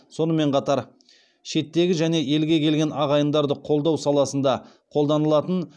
сонымен қатар шеттегі және елге келген ағайындарды қолдау саласында қолданылатын